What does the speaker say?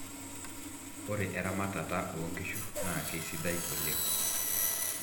ore eramatata oo inkishu naa kesidai oleng